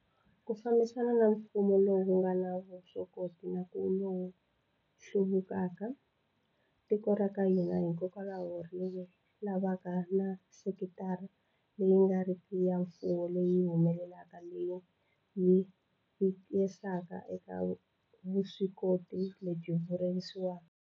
Ku fambisana na mfumo lowu nga na vuswikoti na ku va lowu hluvukaka, tiko ra ka hina hikokwalaho ri lavaka na sekitara leyi nga riki ya mfumo leyi humelelaka leyi yi vekisaka eka vuswikoti lebyi vuyerisaka.